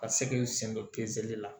Ka se k'i sen don la